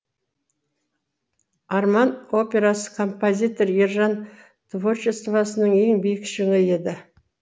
арман операсы композитор ержан творчествосының ең биік шыңы еді